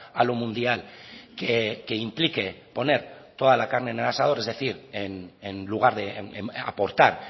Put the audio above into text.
a lo mundial que implique poner toda la carne en el asador es decir en lugar de aportar